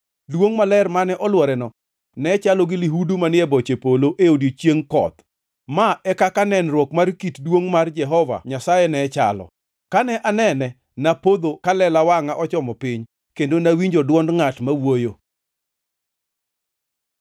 Duongʼ maler mane olworeno ne chalo gi lihudu manie boche polo e odiechieng koth. Ma e kaka nenruok mar kit duongʼ mar Jehova Nyasaye ne chalo. Kane anene, napodho ka lela wangʼa ochomo piny, kendo nawinjo dwond ngʼat ma wuoyo.